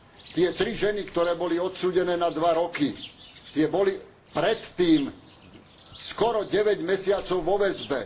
Tie tri ženy, ktoré boli odsúdené na dva roky, tie boli predtým skoro deväť mesiacov vo väzbe.